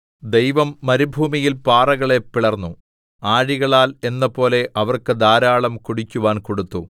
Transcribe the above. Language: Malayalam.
ദൈവം മരുഭൂമിയിൽ പാറകളെ പിളർന്നു ആഴികളാൽ എന്നപോലെ അവർക്ക് ധാരാളം കുടിക്കുവാൻ കൊടുത്തു